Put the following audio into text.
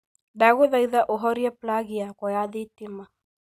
ndaguthaitha uhorie plagi yakwa ya thitima